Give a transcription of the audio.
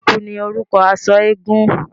Ẹ̀kú ní orúkọ aṣọ eégún.